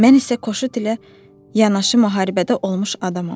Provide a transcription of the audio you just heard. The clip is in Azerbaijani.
Mən isə qoşut ilə yanaşı müharibədə olmuş adamam.